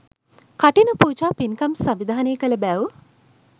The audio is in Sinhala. කඨින පූජා පින්කම් සංවිධානය කළ බැව්